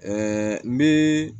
n bɛ